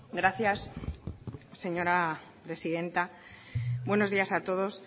gracias señora presidenta buenos días a todos